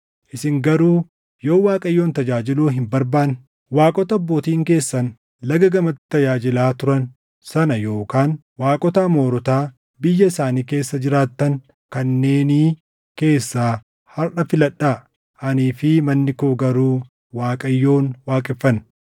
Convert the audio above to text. Isin garuu yoo Waaqayyoon tajaajiluu hin barbaanne, waaqota abbootiin keessan Laga gamatti tajaajilaa turan sana yookaan waaqota Amoorotaa biyya isaanii keessa jiraattan kanneenii keessaa harʼa filadhaa. Anii fi manni koo garuu Waaqayyoon waaqeffanna.”